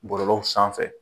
Bɔlɔlɔw sanfɛ.